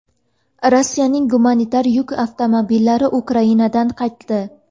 Rossiyaning gumanitar yuk avtomobillari Ukrainadan qaytdi.